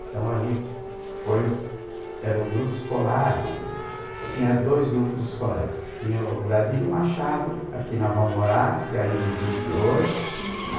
Então ali foi o, era o grupo escolar, tinha dois grupos escolares, tinha o Brasílio Machado, aqui na Rua Moraes, que ainda existe hoje, uhum, né?